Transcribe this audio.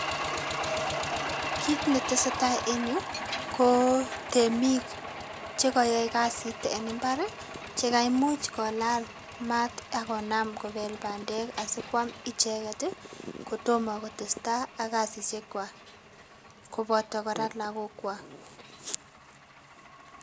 Kit ne tesetai en yu ko temiik che kayae kazit en mbar che kaimuuch kolaal maat agonaam kobeel pandeek asikwaam icheget ii kotomah kotestai ak kasisiek kwaag kobataa kora lagokwaak